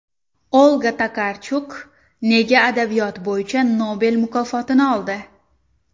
Olga Tokarchuk nega adabiyot bo‘yicha Nobel mukofotini oldi?